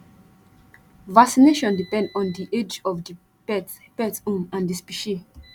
vaccination depend on di age of di pet pet um and di specie